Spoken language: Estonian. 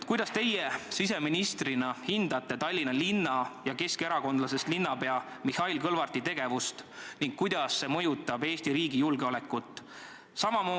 Kuidas teie siseministrina hindate Tallinna linna ja keskerakondlasest linnapea Mihhail Kõlvarti tegevust ning kuidas see mõjutab Eesti riigi julgeolekut?